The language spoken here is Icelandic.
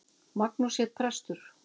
Magnús hét prestur.